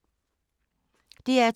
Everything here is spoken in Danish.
DR2